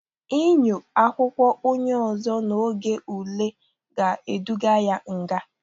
Inyo akwụkwọ onye ụzọ n'oge ule ga-eduga ya nga.